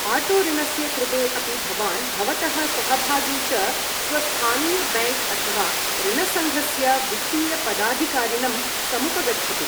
Auto ऋणस्य कृते अपि भवान् भवतः सहभागी च स्वस्थानीयबैङ्क् अथवा ऋणसङ्घस्य वित्तीयपदाधिकारिणं समुपगच्छतु।